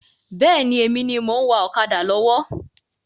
Bẹ́ẹ̀ni, èmi ni mo ń wá ọ̀kadà lọ́wọ́.